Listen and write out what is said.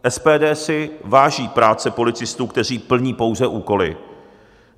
SPD si váží práce policistů, kteří plní pouze úkoly.